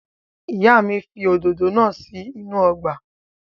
Ìyá mi fi òdòdó náà sí inú ọgbà.